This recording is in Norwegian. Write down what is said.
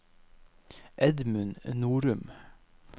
Edmund Norum